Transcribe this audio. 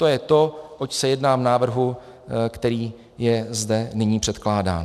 To je to, oč se jedná v návrhu, který je zde nyní předkládán.